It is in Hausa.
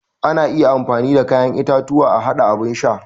Ana iya amfani da kayan itatuwa a haɗa abun sha.